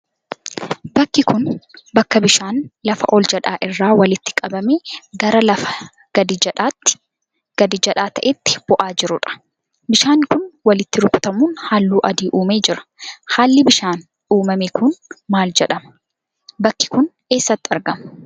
Bakki kun, bakka bishaan lafa ol jedhaa irraa walitti qabamee gara lafa gadi jedhaa ta'etti bu'aa jiruu dha. Bishaan kun, walitti rukutamuun haalluu adii uumee jira. Haalli bishaaniin uumame kun maal jedhama? Bakki kun, eessatti argama?